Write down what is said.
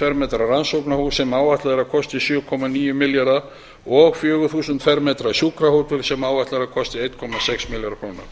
fermetra rannsóknarhús sem áætlað er að kosti sjö komma níu milljarða króna og fjögur þúsund fermetra sjúkrahótel sem áætlað er að kosti einn komma sex milljarð króna